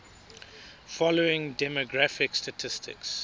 following demographic statistics